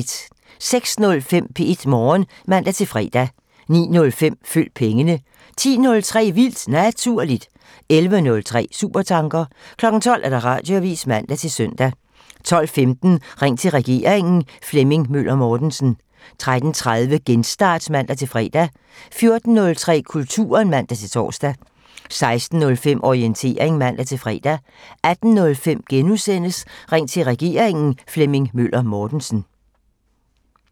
06:05: P1 Morgen (man-fre) 09:05: Følg pengene (man) 10:03: Vildt Naturligt (man) 11:03: Supertanker (man) 12:00: Radioavisen (man-søn) 12:15: Ring til regeringen: Flemming Møller Mortensen 13:30: Genstart (man-fre) 14:03: Kulturen (man-tor) 16:05: Orientering (man-fre) 18:05: Ring til regeringen: Flemming Møller Mortensen *